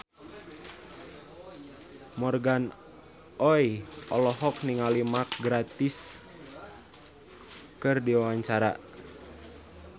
Morgan Oey olohok ningali Mark Gatiss keur diwawancara